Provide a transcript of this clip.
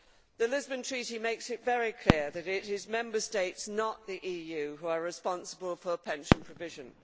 The Lisbon Treaty makes it very clear that it is Member States, not the EU, who are responsible for pension provision.